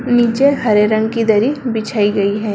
नीचे हरे रंग की दरी बिछाई गई है।